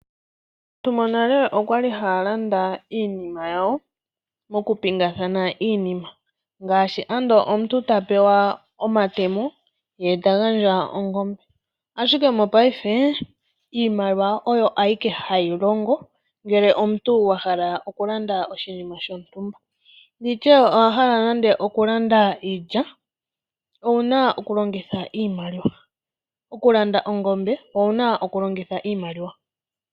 Aantu monale okwali haya landa iinima yawo moku pingakanitha iinima. Ngaashi ando omuntu ta pewa omatemo ye ta gandja ongombe, ashike mongaashingeyi iimaliwa oyo ayike hayi longo, ngele omuntu wa hala okulanda oshinima shontumba, nditye owa hala nande okulanda iilya, owuna oku longitha iimaliwa, okulanda ongombe, owuna oku longitha iimaliwa.